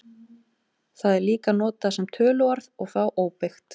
Það er líka notað sem töluorð og þá óbeygt.